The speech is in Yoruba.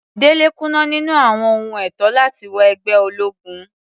Dele kùnà níní àwọn ohun ètò láti wọ ẹgbẹ́ ológun.